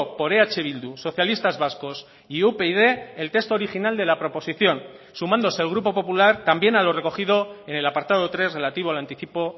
por eh bildu socialistas vascos y upyd el texto original de la proposición sumándose el grupo popular también a lo recogido en el apartado tres relativo al anticipo